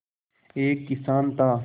एक किसान था